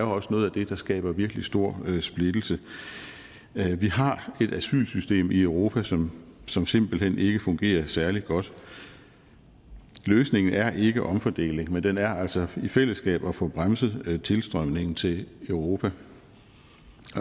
også noget af det der skaber virkelig stor splittelse vi har et asylsystem i europa som som simpelt hen ikke fungerer særlig godt løsningen er ikke omfordeling men den er altså i fællesskab at få bremset tilstrømningen til europa